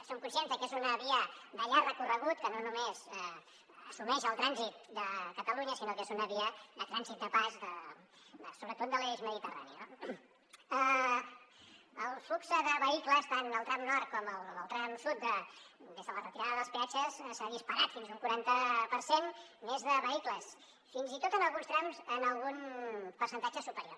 som conscients de que és una via de llarg recorregut que no només assumeix el trànsit de catalunya sinó que és una via de trànsit de pas sobretot de l’eix mediterrani no el flux de vehicles tant al tram nord com al tram sud des de la retirada dels peatges s’ha disparat fins a un quaranta per cent més de vehicles fins i tot en alguns trams en algun percentatge superior